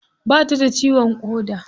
Ba ta da ciwon ƙoda.